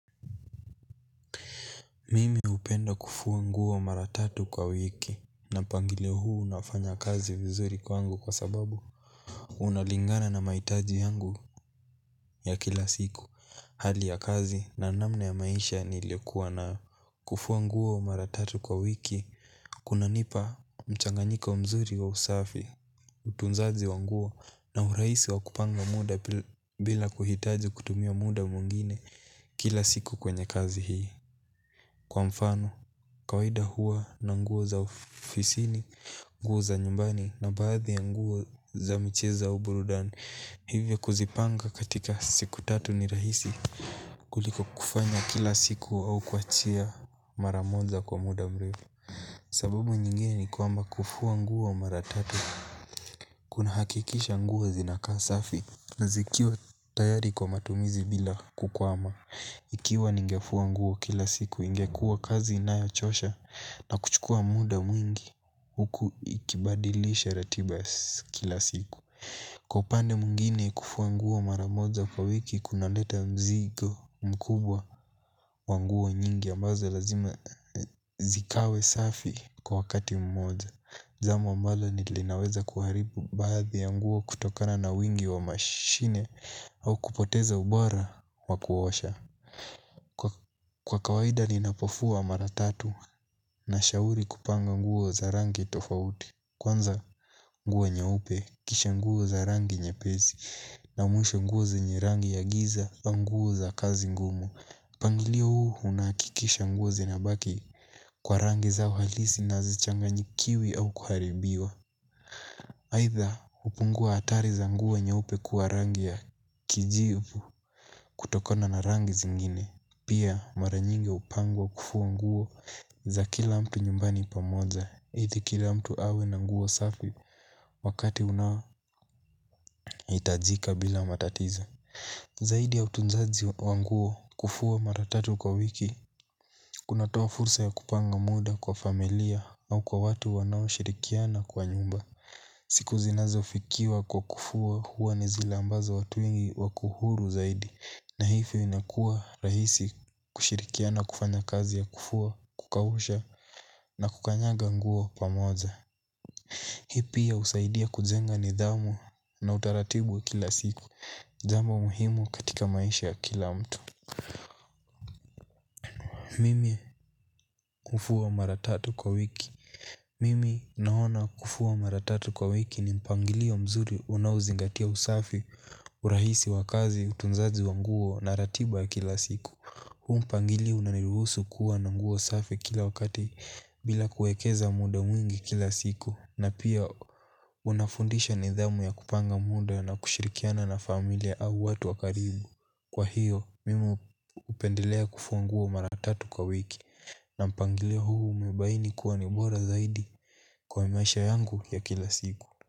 Mimi hupenda kufua nguo mara tatu kwa wiki. Na mpangilio huu unafanya kazi vizuri kwangu kwa sababu unalingana na mahitaji yangu ya kila siku. Hali ya kazi na namna ya maisha niliyokuwa na kufua nguo mara tatu kwa wiki. Kunanipa mchanganyiko wa mzuri wa usafi. Utunzaji wa nguo na urahisi wa kupanga muda bila kuhitaji kutumia muda mwingine kila siku kwenye kazi hii. Kwa mfano. Kawaida huwa na nguo za ofisini, nguo za nyumbani na baadhi ya nguo za michezo au burudani. Hivyo kuzipanga katika siku tatu ni rahisi kuliko kufanya kila siku au kuchia mara moja kwa muda mrefu. Sababu nyingine ni kwamba kufua nguo maratatu. Kunahakikisha nguo zinakaa safi na zikiwa tayari kwa matumizi bila kukwama. Ikiwa ningefua ngui kila siku ingekua kazi inayochosha na kuchukua muda mwingi huku ikibadilisha ratiba kila siku. Kwa upande mwingine kufua nguo mara moja kwa wiki kuna leta mzigo mkubwa wa nguo nyingi ambazo lazima zikawe safi kwa wakati moja jambi ambalo linaweza kuharibu baadhi ya nguo kutokana na wingi wa mashine au kupoteza ubora wa kuosha. Kwa kawaida ninapofua maratatu na shauri kupanga nguo za rangi tofauti. Kwanza nguo nyeupe kisha nguo za rangi nyepesi. Na mwisho nguo zenye rangi ya giza wa nguo za kazi ngumu mpangilio huu unahakikisha nguo zinabaki kwa rangi zao halisi na hazichanganyikiwi au kuharibiwa aidha upunguo hatari za nguo nyeupe kuwa rangi ya kijivu kutokona na rangi zingine. Pia mara nyingi hupangwa kufua nguo za kila mtu nyumbani pamoja ili kila mtu awe na nguo safi wakati unaohitajika bila matatizo. Zaidi ya utunzaji wa nguo kufua maratatu kwa wiki kunatoa fursa ya kupanga muda kwa familia au kwa watu wanaoshirikiana kwa nyumba. Siku zinazofikiwa kwa kufua huwa ni zile ambazo watu ingi wako huru zaidi. Na hivyo inakua rahisi kushirikiana kufanya kazi ya kufua, kukausha na kukanyanga nguo pamoja. Hii pia husaidia kujenga nidhamu na utaratibu kila siku ni jambo muhimu katika maisha ya kila mtu. Mimi hufua maratatu kwa wiki. Mimi naona kufua maratatu kwa wiki ni mpangilio mzuri unaozingatia usafi urahisi wa kazi utunzaji wa nguo na ratiba kila siku. Huu mpangilio unaniruhusu kuwa na nguo safi kila wakati bila kuekeza muda mwingi kila siku. Na pia unafundisha nidhamu ya kupanga muda na kushirikiana na familia au watu wa karibu. Kwa hiyo mimi hupendelea kufua nguo maratatu kwa wiki na mpangalio huu umebaini kuwa ni bora zaidi kwa maisha yangu ya kila siku.